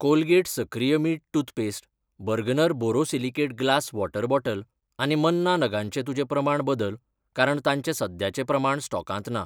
Colgate सक्रिय मीठ toothpaste, Bergner borosilicate glass water bottle आनी मन्ना नगांचें तुजें प्रमाण बदल कारण तांचे सद्याचे प्रमाण स्टॉकांत ना.